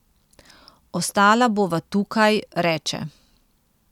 Ostala bova tukaj, reče.